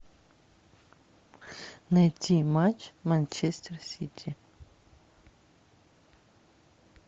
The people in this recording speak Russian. найти матч манчестер сити